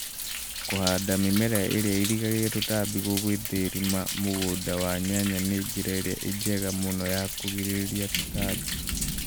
Kũhanda mĩmera ĩrĩa ĩgiragia tũtambi gũgĩthũrima mũgũnda wa nyanya nĩyo njĩra ĩrĩa njega mũno ya kũgirĩrĩria tũtambi.